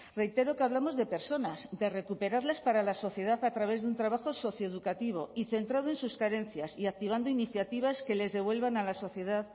reitero que hablamos de personas de recuperarles para la sociedad a través de un trabajo socioeducativo y centrado en sus carencias y activando iniciativas que les devuelvan a la sociedad